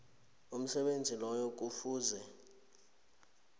umsebenzi loyo kufuze